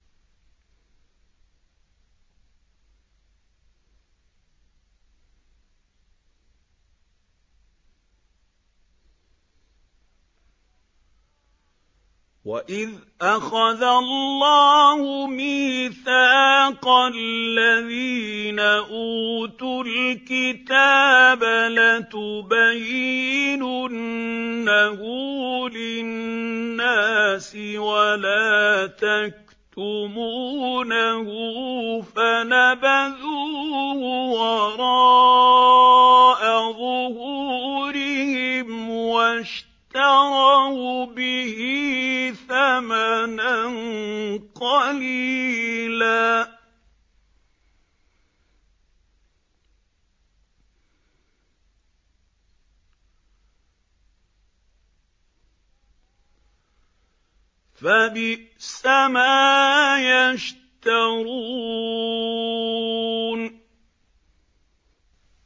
وَإِذْ أَخَذَ اللَّهُ مِيثَاقَ الَّذِينَ أُوتُوا الْكِتَابَ لَتُبَيِّنُنَّهُ لِلنَّاسِ وَلَا تَكْتُمُونَهُ فَنَبَذُوهُ وَرَاءَ ظُهُورِهِمْ وَاشْتَرَوْا بِهِ ثَمَنًا قَلِيلًا ۖ فَبِئْسَ مَا يَشْتَرُونَ